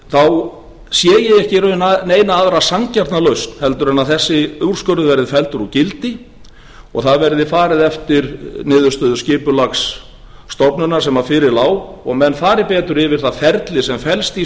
sé ég ekki í raun neina aðra sanngjarna lausn en að þessi úrskurður verði felldur úr gildi og það verði farið eftir niðurstöðu skipulagsstofnunar sem fyrir lá og menn fari betur yfir það ferli sem felst í